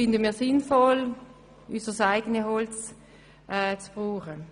Wir finden es sinnvoll, unser eigenes Holz zu verwenden.